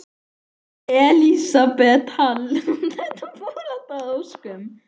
Elísabet Hall: Og þetta fór allt að óskum?